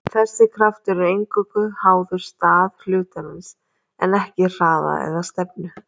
Þessi kraftur er eingöngu háður stað hlutarins en ekki hraða eða stefnu.